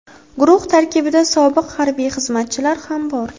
Guruh tarkibida sobiq harbiy xizmatchilar ham bor.